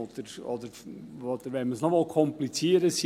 Oder, wenn man es noch verkomplizieren will: